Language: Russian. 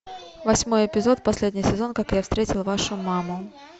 восьмой эпизод последний сезон как я встретил вашу маму